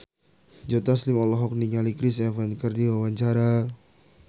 Joe Taslim olohok ningali Chris Evans keur diwawancara